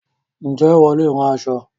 Ǹjẹ́ ìwọ leè rán aṣọ